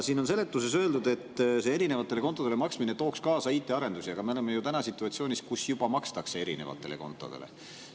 Siin on seletuses öeldud, et see erinevatele kontodele maksmine tooks kaasa IT‑arendusi, aga me oleme ju situatsioonis, kus juba makstakse erinevatele kontodele.